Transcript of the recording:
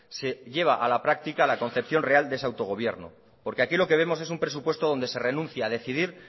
se lleva a la práctica la concepción real de ese autogobierno porque aquí lo que vemos es un presupuesto donde se renuncia a decidir